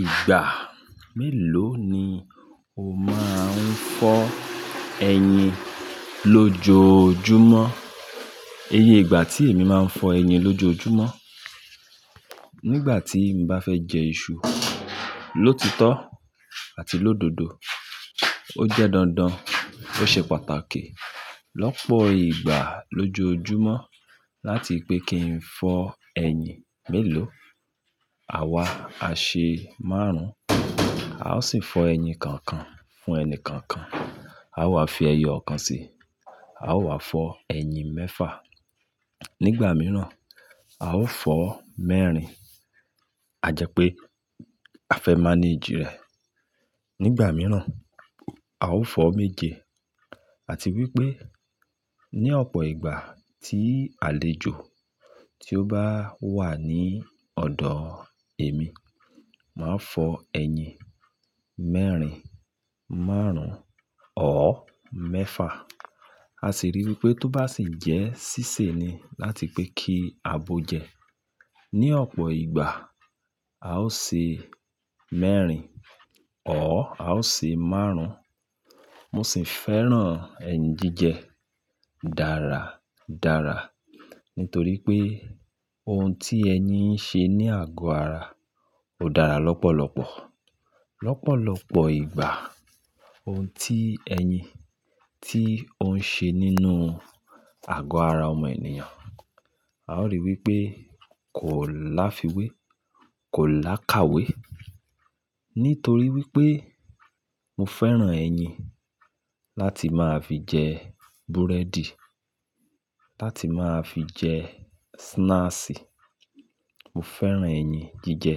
Ìgbà mélòó ni o máa ń fọ ẹyin lójoojúmọ́? Iyí ìgbà tí èmi máa ń fọ ẹyin lójoojúmọ́. Nígbà tí mo bá fẹ́ jẹ iṣu lótítọ́ àti lódodo, ó jẹ́ dandan, ó ṣe pàtàkì lọ́pọ̀ ìgbà lójoojúmọ́ láti pé kí n fọ ẹyin mélòó. Àwa áṣe márùn, a ó sì fọ ẹyin kankan fún ẹni kankan. A ó wà fi ẹyọ ọ̀kan síi, a ó wà fọ ẹyin mẹ́fà. Nígbà mìíràn, a ó fọ mẹ́rin, àjẹ́ pé a fẹ́ mánejì rẹ̀. Nígbà mìíràn, a ó fọ méje. Àti wípé ní ọ̀pọ̀ ìgbà tí àlejò tí ó bá wà ní ọ̀dọ̀ èmi, màá fọ ẹyin mẹ́rin, márùn-ún ọ́ mẹ́fà. A sì rí wípé tó bá sìjẹ sísè ni láti pé kí a bo jẹ. Ní ọ̀pọ̀ ìgbà, a ó ṣe mẹ́rin ọ́, a ó ṣe márùn. Mosì fẹ́ràn ẹyin jíjẹ dáradára nítorí pé ohun tí ẹyin ń ṣe ní àgọ́ ara ó dára lọ́pọ̀lọpọ̀. Lọ́pọ̀lọpọ̀ ìgbà, ohun tí ẹyin tí ó ń ṣe nínú àgọ́ ara ọmọ ènìyàn, a ó rí wípé kò láfiwé, kò làkàwé. Nítorí wípé mo fẹ́ràn ẹyin láti máa fi jẹ búrẹ́dì, láti máa fi jẹ snaasi. Mo fẹ́ràn ẹyin jíjẹ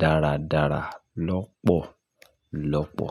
dáradára lọ́pọ̀lọpọ̀.